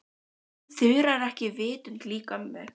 En Þura er ekki vitund lík ömmu.